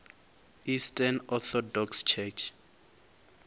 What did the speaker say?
eastern orthodox church